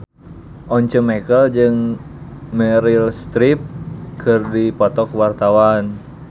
Once Mekel jeung Meryl Streep keur dipoto ku wartawan